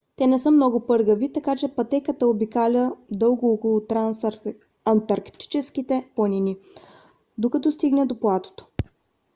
те не са много пъргави така че пътеката обикаля дълго около трансантарктическите планини докато стигне до платото